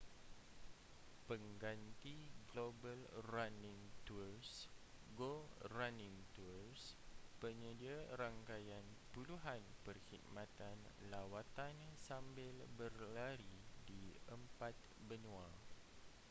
pengganti global running tours go running tours penyedia rangkaian puluhan perkhidmatan lawatan sambil berlari di empat benua